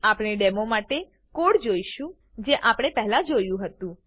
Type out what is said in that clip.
આપણે ડેમો માટે કોડ જોઈશું જે આપણે પહેલા જોયું હતું